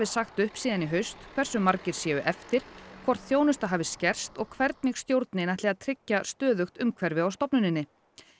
sagt upp síðan í haust hversu margir séu eftir hvort þjónusta hafi skerst og hvernig stjórnin ætli að tryggja stöðugt umhverfi á stofnuninni